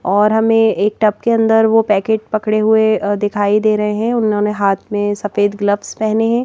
और हमें एक टब के अंदर वो पैकेट पकड़े हुए दिखाई दे रहे हैं उन्होंने हाथ में सफेद ग्लव्स पहने हैं।